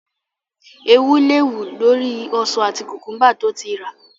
Eewú le wù lórí ọsàn àti kùkúḿbà tí ó ti rà.